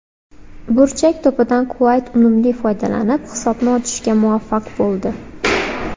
Burchak to‘pidan Quvayt unumli foydalanib, hisobni ochishga muvaffaq bo‘ldi.